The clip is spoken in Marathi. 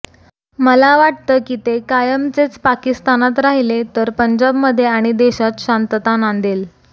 मला वाटतं की ते कायमचेच पाकिस्तानात राहिले तर पंजाबमध्ये आणि देशात शांतता नांदेल